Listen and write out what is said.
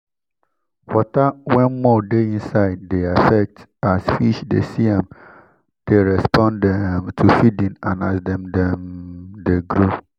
water wen mud de inside dey affect as fish dey see am dey respond um to feeding and as dem dem de grow